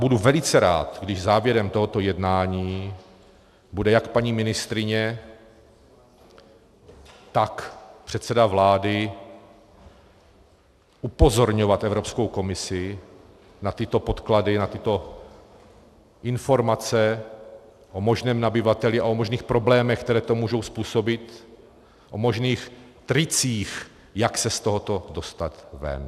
Budu velice rád, když závěrem tohoto jednání bude jak paní ministryně, tak předseda vlády upozorňovat Evropskou komisi na tyto podklady, na tyto informace o možném nabyvateli a o možných problémech, které to může způsobit, o možných tricích, jak se z tohoto dostat ven.